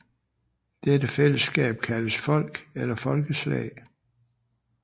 Dette fællesskab kaldes folk eller folkeslag